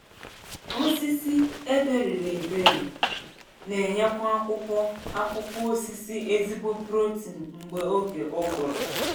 Osisi eberiri eberi n’enyekwa akwụkwọ akwụkwọ osisi ezigbo protein mgbe oge ụgụrụ